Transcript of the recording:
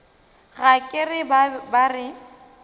ga ke re ba re